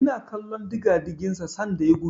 Ina kallon digadigin sa sanda yana gudu.